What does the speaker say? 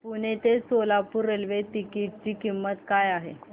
पुणे ते Solapur railway ticket ची किंमत काय आहे